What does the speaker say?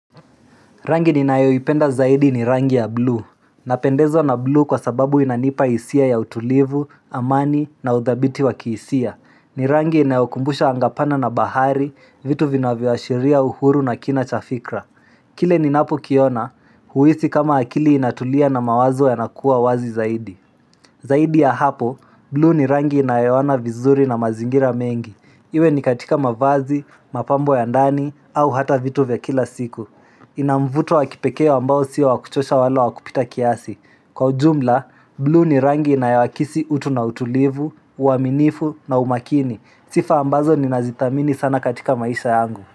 Rangi ninayoipenda zaidi ni rangi ya blue. Napendezwa na blue kwa sababu inanipa hisia ya utulivu, amani na udhabiti wa kihisia. Ni rangi inaokumbusha anga pana na bahari, vitu vinavyoashiria uhuru na kina cha fikra. Kile ninapokiona, huisi kama akili inatulia na mawazo yanakuwa wazi zaidi. Zaidi ya hapo, blue ni rangi inayooana vizuri na mazingira mengi. Iwe ni katika mavazi, mapambo ya ndani, au hata vitu vya kila siku. Ina mvuto wa kipekee ambao si wa kuchosha wala wa kupita kiasi Kwa ujumla, blue ni rangi inayoakisi utu na utulivu, uaminifu na umakini sifa ambazo ninazithamini sana katika maisha yangu.